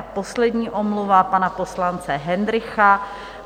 A poslední, omluva pana poslance Hendrycha,